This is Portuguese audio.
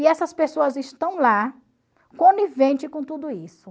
E essas pessoas estão lá, conivente com tudo isso.